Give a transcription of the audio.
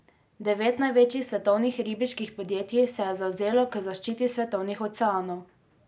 Devet največjih svetovnih ribiških podjetij se je zavezalo k zaščiti svetovnih oceanov.